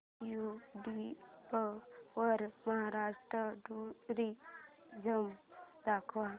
YouTube वर Maharashtra tourism दाखव